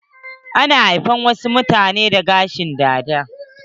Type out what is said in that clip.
Ana haifar wasu mutane da gashin dada.